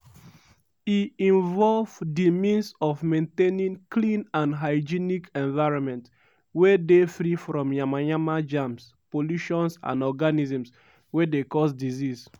e involve di means of maintaining clean and hygienic environment wey dey free from yamayama germs pollutions and organisms wey dey cause disease.